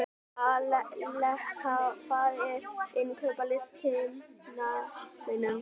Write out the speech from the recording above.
Aleta, hvað er á innkaupalistanum mínum?